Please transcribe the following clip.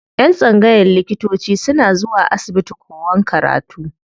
Yan tsangayan likitanci suna zuwa asibiti kowan karatu.